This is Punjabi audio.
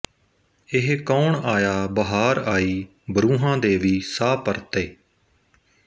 ਇਹ ਕੌਣ ਆਇਆ ਬਹਾਰ ਆਈ ਬਰੂਹਾਂ ਦੇ ਵੀ ਸਾਹ ਪਰਤੇ